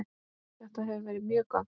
Þetta hefur verið mjög gott.